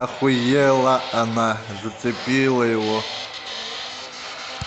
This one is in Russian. охуела она зацепила его